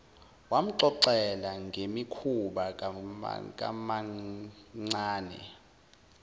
wamxoxela ngemikhuba kamamncane